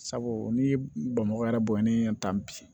Sabu n'i ye bamakɔ yɛrɛ bɔnni ta bi